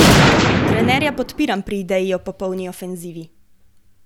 Trenerja podpiram pri ideji o popolni ofenzivi.